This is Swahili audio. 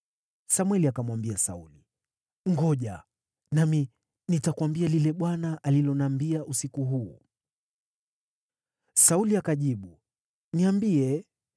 Samweli akamwambia Sauli, “Ngoja! Nami nitakuambia lile Bwana aliloniambia usiku huu.” Sauli akajibu, “Niambie.”